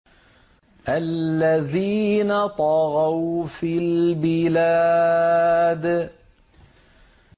الَّذِينَ طَغَوْا فِي الْبِلَادِ